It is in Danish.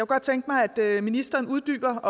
godt tænke mig at ministeren uddybede